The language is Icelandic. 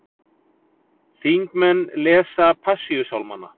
Þingmenn lesa Passíusálmanna